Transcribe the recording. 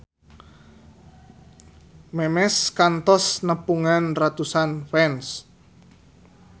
Memes kantos nepungan ratusan fans